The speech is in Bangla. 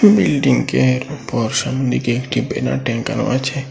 বিল্ডিংয়ের উপর দেখি একটি ব্যানার টাঙানো আছে।